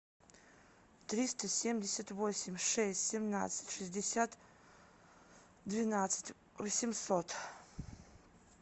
триста семьдесят восемь шесть семнадцать шестьдесят двенадцать восемьсот